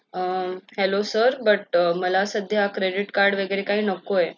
hello sirbut मला संध्या credit card वगैरे काही नको आहे